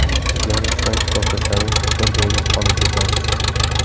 O‘rganishdan to‘xtasangiz, bir joyda qotib qolasiz.